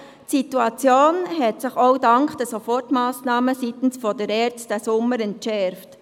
Die Situation hat sich, auch dank der Sofortmassnahmen seitens der ERZ, im Sommer entschärft.